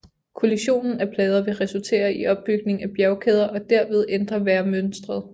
Kollisionen af plader vil resultere i opbygning af bjergkæder og derved ændre vejrmønstret